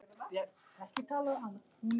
Segir hana paradís á jörð.